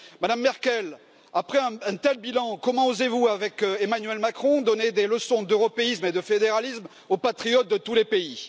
Madame Merkel, après un tel bilan, comment osez vous, avec Emmanuel Macron, donner des leçons d'européisme et de fédéralisme aux patriotes de tous les pays?